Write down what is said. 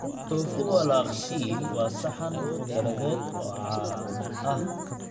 Tofu walaaq-shiil waa saxan khudradeed oo caan ah.